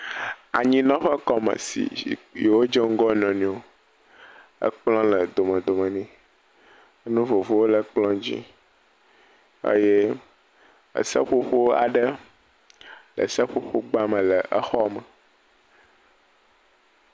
Zikpui kple kplɔ kple taziɔnu wole exɔ gã aɖe, me exɔa, kɔla ʋi wosi ɖe exɔa katã me, ŋɔtru le xɔ ŋuti, ekplɔ dzia woda nuɖuɖu aɖewo ɖe kplɔ dzi.